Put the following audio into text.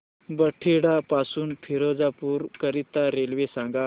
बठिंडा पासून फिरोजपुर करीता रेल्वे सांगा